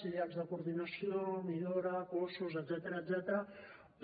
sí els de coordinació millora cossos etcètera